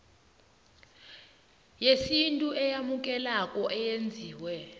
yesintu eyamukelekako eyenziwe